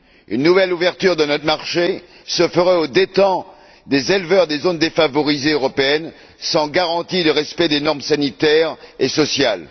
Une nouvelle ouverture de notre marché se ferait aux dépens des éleveurs des zones défavorisées européennes, sans garantie de respect des normes sanitaires et sociales.